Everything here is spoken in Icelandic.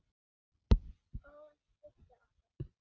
Og hún studdi okkur.